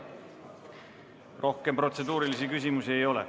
Rohkem protseduurilisi küsimusi ei ole.